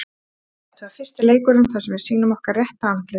Þetta var fyrsti leikurinn sem við sýnum okkar rétta andlit.